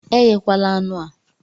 Eghekwala anụ a!